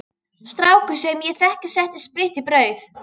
Strákur sem ég þekki setti spritt í brauð.